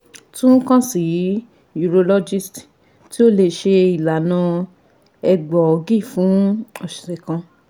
Tun kan si urologist, ti o le ṣe ilana egboogi fun ọsẹ kan